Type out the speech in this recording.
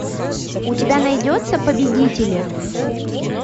у тебя найдется победители